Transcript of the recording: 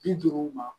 Bi duuru ma